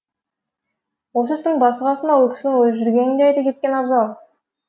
осы істің басы қасында ол кісінің өзі жүргенін де айта кеткен абзал